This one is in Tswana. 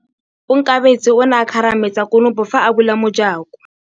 Onkabetse o ne a kgarametsa konopô fa a bula mojakô.